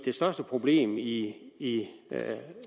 største problem i i